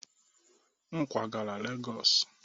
M kwagara Lagos